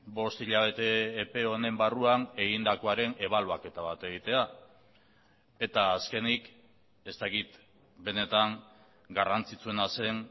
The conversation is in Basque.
bost hilabete epe honen barruan egindakoaren ebaluaketa bat egitea eta azkenik ez dakit benetan garrantzitsuena zen